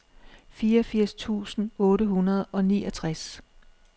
fireogfirs tusind otte hundrede og niogtres